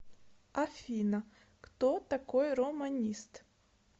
афина кто такой романист